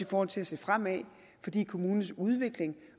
forhold til at se fremad fordi kommunens udvikling